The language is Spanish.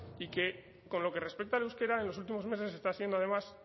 y que con lo que respecta al euskera en los últimos meses está siendo además